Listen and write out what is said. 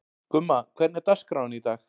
Gumma, hvernig er dagskráin í dag?